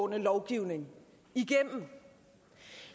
lovgivning igennem